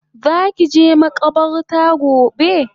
Zaki je makabarta gobe?